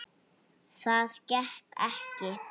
Það gekk ekki